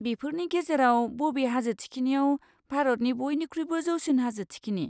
बेफोरनि गेजेराव बबे हाजो थिखिनियाव भारतनि बइनिख्रुइबो जौसिन हाजो थिखिनि?